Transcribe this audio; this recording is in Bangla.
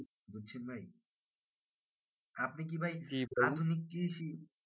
বলছি ভাই আপনি কি ভাই অনেক কৃষি